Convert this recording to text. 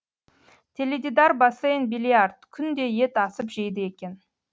теледидар бассейн биллиард күнде ет асып жейді екен